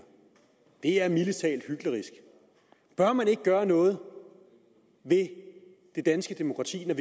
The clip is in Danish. det er mildest talt hyklerisk bør man ikke gøre noget ved det danske demokrati når